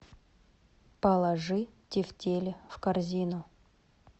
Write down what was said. положи тефтели в корзину